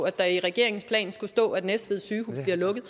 at der er i regeringens plan skulle stå at næstved sygehus bliver lukket